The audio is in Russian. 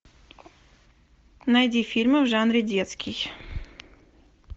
найди фильмы в жанре детский